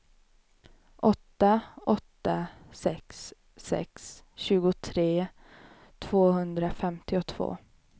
åtta åtta sex sex tjugotre tvåhundrafemtiotvå